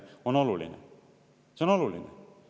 See on oluline!